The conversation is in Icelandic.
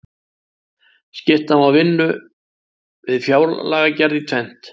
Skipta má vinnu við fjárlagagerð í tvennt.